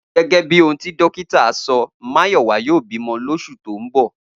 Gé̩gé̩ bí ohun tí dókítà so̩, Máyò̩wá yóò bímo̩ lós̩ù tó ń bò